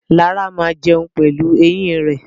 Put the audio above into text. Lara máa jẹun pelu eyín rẹ̀.